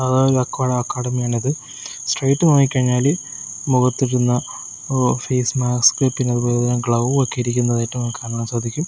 Academy ആണിത് straight നോക്കി കഴിഞ്ഞാൽ മുഖത്തിടുന്ന ഒ ഫെയ്സ്മാസ്ക് പിന്നെ അതുപോലെതന്നെ ഗ്ലൗ ഒക്കെ ഇരിക്കുന്നതായിട്ട് നമുക്ക് കാണാൻ സാധിക്കും.